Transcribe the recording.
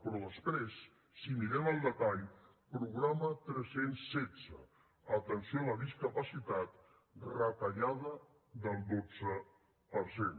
però després si mirem el detall programa tres cents i setze atenció a la discapacitat retallada del dotze per cent